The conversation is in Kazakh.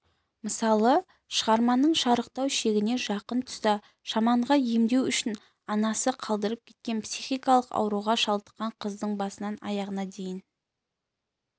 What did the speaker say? мысалы шығарманың шарықтау шегіне жақын тұста шаманға емдеу үшін анасы қалдырып кеткен психикалық ауруға шалдыққан қыздың басынан аяғына дейін